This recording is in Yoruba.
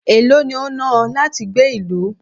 èló ni o náà ọ láti gbé ìlú?